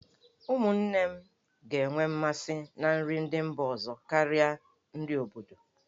Ụmụnne m ga-enwe mmasị na nri ndị mba ọzọ karịa nri obodo.